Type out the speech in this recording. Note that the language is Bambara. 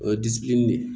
O ye de ye